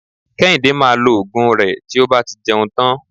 Kéhìndé maa lo Ògùn rẹ tí ó bá ti jẹun tán